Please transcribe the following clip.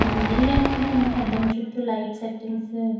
ఈ ఏరియా కూడ ఏంటి దాం చుట్టూ లైట్ సెట్టింగ్సు .